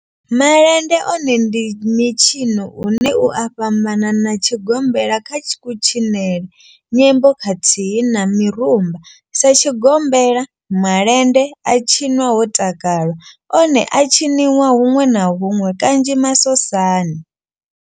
Malende one ndi mitshino une u a fhambana na tshigombela kha kutshinele, nyimbo khathihi na mirumba. Sa tshigombela, malende a tshinwa ho takalwa, one a a tshiniwa hunwe na hunwe kanzhi masosani.